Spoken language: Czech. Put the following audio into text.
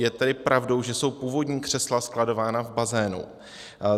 Je tedy pravdou, že jsou původní křesla skladována v bazénu?